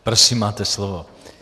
Prosím, máte slovo.